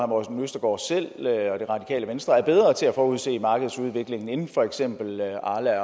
morten østergaard selv og det radikale venstre er bedre til at forudse markedsudviklingen end for eksempel arla